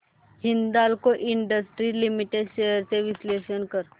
Hindalco industries limited shares चे विश्लेषण कर